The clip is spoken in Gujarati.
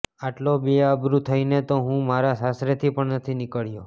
આટલો બેઆબરૂ થઈને તો હું મારા સાસરેથી પણ નથી નીકળ્યો